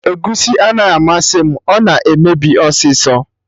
Egusi anaghị amasị m, ọ na-emebi ọsịsọ